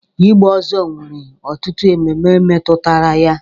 Ịgba ọzọ nwere ọtụtụ ememe metụtara ya.